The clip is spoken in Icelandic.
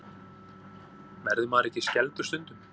Verður maður ekki skelfdur stundum?